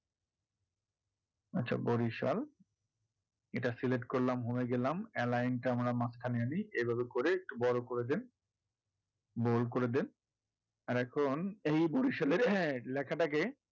আচ্ছা বড়িসাল এটা select করলাম home এ গেলাম টা আমরা মাঝখানে আনি এভাবে করে একটু বড় করে দেন বড় করে দেন আর এখন এই বড়িসালের হ্যাঁ লেখাটা কে,